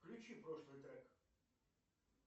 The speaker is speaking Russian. включи прошлый трек